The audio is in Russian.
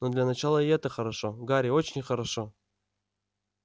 но для начала и это хорошо гарри очень хорошо